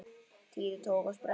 Týri tók á sprett.